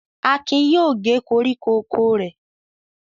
Akin yóò gé koríko oko rẹ̀.